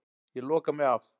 Ég loka mig af.